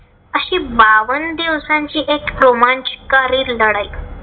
अशी बावन्न दिवसांची एक रोमांचकारी लढाई.